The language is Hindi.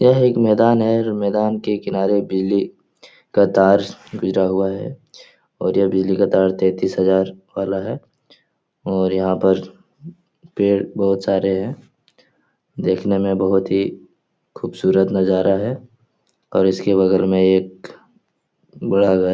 यह एक मैदान है जो मैदान के किनारे बिजली का तार गिरा हुआ है और यह बिजली का तार तैंतीस हजार वाला है और यहाँ पर पेड़ बहुत सारे हैं देखने में बहुत ही खूबसूरत नजारा है और इसके बगल में एक बड़ा घर --